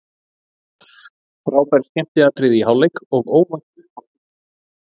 Frábær skemmtiatriði í hálfleik og óvænt uppátæki.